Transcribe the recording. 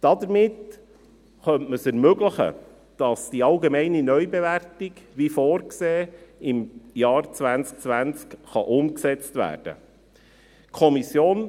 Damit könnte man es ermöglichen, dass die allgemeine Neubewertung, wie vorgesehen, im Jahr 2020 umgesetzt werden kann.